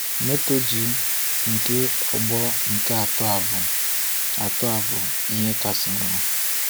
Moto G nke ọgbọ nke atọ bụ atọ bụ ihe kasị mma.